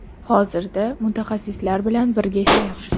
Hozirda mutaxassislar bilan birga ishlayapmiz.